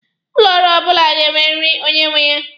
Ụlọ ọrụ ọbụla ga-enweriri onye nwe ya.